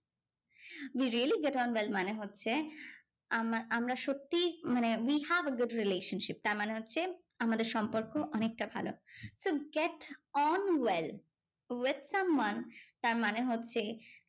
We really get on well. মানে হচ্ছে, আমা~ আমরা সত্যি মানে we have a good relationship. তার মানে হচ্ছে, আমাদের সম্পর্ক অনেকটা ভালো। so get on well with someone তার মানে হচ্ছে,